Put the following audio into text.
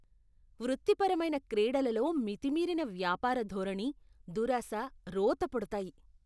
వృత్తిపరమైన క్రీడలలో మితిమీరిన వ్యాపారధోరణి, దురాశ రోత పుడతాయి.